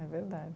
É verdade.